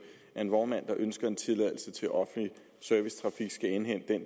at en vognmand der ønsker en tilladelse til offentlig servicetrafik skal indhente